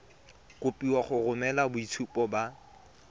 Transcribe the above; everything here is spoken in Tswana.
kopiwa go romela boitshupo ba